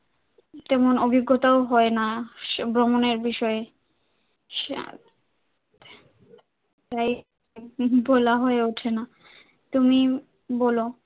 এমন অভিজ্ঞতা ও হয়না ভ্রমণের বিষয়ে, আহ তাই বলা হয়ে ওঠে না তুমি বলো।